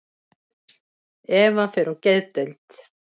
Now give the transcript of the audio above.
Eva fer á geðdeild.